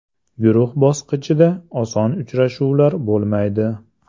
Guruh bosqichida oson uchrashuvlar bo‘lmaydi.